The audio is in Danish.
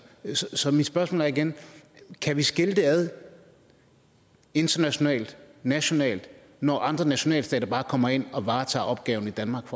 så mit spørgsmål er igen kan vi skille det ad internationaltnationalt når andre nationalstater bare kommer ind og varetager opgaven i danmark